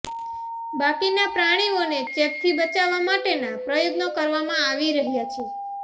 બાકીના પ્રાણીઓને ચેપથી બચાવવા માટેના પ્રયત્નો કરવામાં આવી રહ્યા છે